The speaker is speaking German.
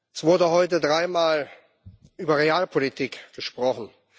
Es wurde heute dreimal über Realpolitik gesprochen.